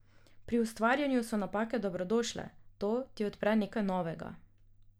Pri ustvarjanju so napake dobrodošle, to ti odpre nekaj novega.